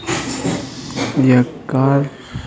य काल --